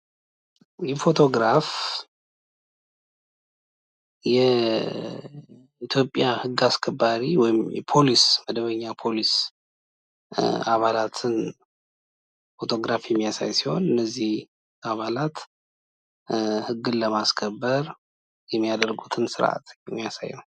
ይህ ፎቶ ግራፍ የኢትዮጵያ ህግ አስከባሪ ወይም የፖሊስ አባላትን ፎቶ ግራፍ የሚያሳይ ሲሆን ይህ የፖሊስ አባላት ህግን ለማስከበር የሚያሳዩትን ስርአት የሚያሳይ ነው ።